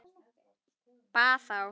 Bað þá